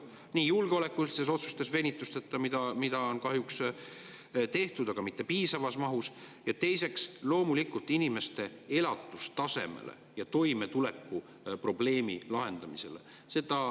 Seda nii venitusteta julgeolekulistes otsustes, mida on tehtud, aga kahjuks mitte piisavas mahus, ja teiseks loomulikult inimeste elatustaseme ja toimetuleku probleemide lahendamisel.